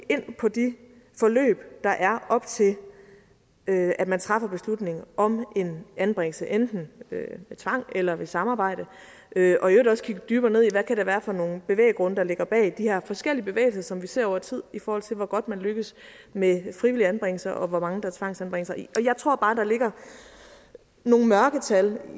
på de forløb der er op til at at man træffer beslutningen om en anbringelse enten ved tvang eller ved samarbejde og øvrigt også dykke dybere ned i hvad det kan være for nogle bevæggrunde der ligger bag de her forskellige bevægelser som vi ser over tid i forhold til hvor godt man lykkes med frivillige anbringelser og hvor mange der tvangsanbringes jeg tror bare der ligger nogle mørketal